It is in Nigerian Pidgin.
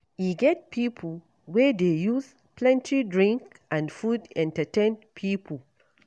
E get pipo wey dey use plenty drink and food entertain pipo.